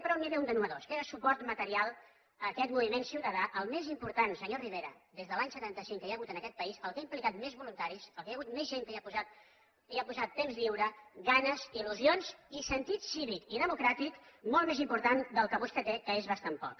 però n’hi havia un de nou que és el suport material a aquest moviment ciutadà el més important senyor rivera des de l’any setanta cinc que hi ha hagut en aquest país el que ha implicat més voluntaris el que hi ha hagut més gent que hi ha posat temps lliure ganes il·lusions i sentit cívic i democràtic molt més important del que vostè té que és bastant poc